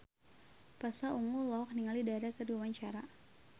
Pasha Ungu olohok ningali Dara keur diwawancara